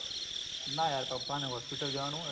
ના યાર પપ્પાને hospital જવાનું હ એટલે